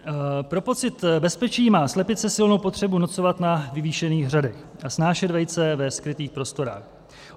Pro pocit bezpečí má slepice silnou potřebu nocovat na vyvýšených hřadech a snášet vejce ve skrytých prostorách.